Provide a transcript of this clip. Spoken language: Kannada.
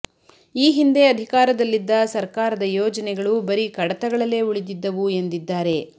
ಈ ಹಿಂದೆ ಅಧಿಕಾರದಲ್ಲಿದ್ದ ಸರ್ಕಾರದ ಯೋಜನೆಗಳು ಬರೀ ಕಡತಗಳಲ್ಲೇ ಉಳಿದಿದ್ದವು ಎಂದಿದ್ದಾರೆ